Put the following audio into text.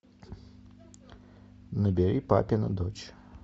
набери папина дочь